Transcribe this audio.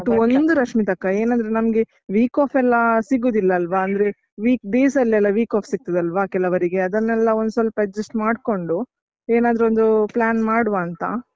but ಒಂದು ರಶ್ಮಿತಕ್ಕ, ಏನಂದ್ರೆ ನಮ್ಗೆ week off ಎಲ್ಲ ಸಿಗುದಿಲ್ಲ ಅಲ್ವಾ ಅಂದ್ರೆ week days ಅಲ್ಲೆಲ್ಲ week off ಸಿಗ್ತದಲ್ವಾ ಕೆಲವರಿಗೆ ಅದನ್ನೆಲ್ಲ ಒಂದ್ ಸ್ವಲ್ಪ adjust ಮಾಡ್ಕೊಂಡು ಏನಾದ್ರೊಂದು plan ಮಾಡುವಾ ಅಂತ.